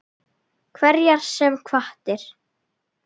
Hverjar sem hvatir